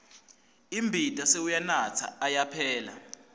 imbita sewuyanatsa ayaphela